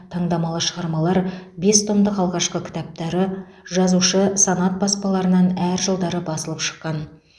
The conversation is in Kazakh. таңдамалы шығармалар бес томдық алғашқы кітаптары жазушы санат баспаларынан әр жылдары басылып шыққан